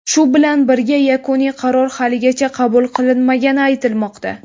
Shu bilan birga, yakuniy qaror haligacha qabul qilinmagani aytilmoqda.